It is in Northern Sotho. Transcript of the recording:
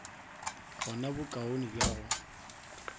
go na bokaone bja go